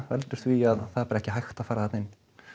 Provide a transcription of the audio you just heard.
veldur því að það er bara ekki hægt að fara þarna inn